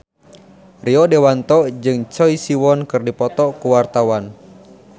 Rio Dewanto jeung Choi Siwon keur dipoto ku wartawan